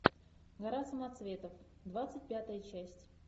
гора самоцветов двадцать пятая часть